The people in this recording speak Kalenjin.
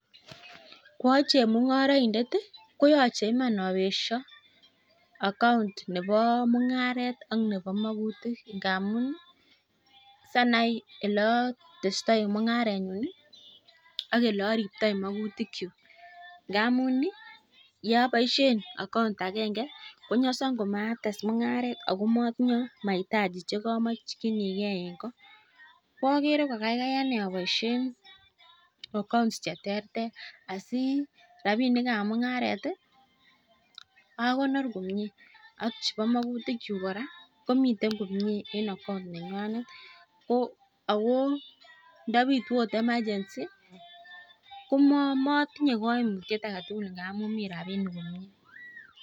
Koachemung'oroindet i, koyoche iman abesho account nebo mung'aret ak nebo magutik ngamun sianai ole otestoi mung'arenyun ak ole oriptoi maguitkyuk ngamun yeaboisiien account agenge konyason komates mung'aret ago motinye mahitaji che komokinigeen ko. Ko ogere ko kaikai ane aboishen accouts che terter asi rabinik ab mung'aret akonor komie ak chebo magutikyuk kora komiten komie en account nenywanet ago ndo bitu ot emergency komotinye kaimutiet age tugul ngamun mi rabinik komie.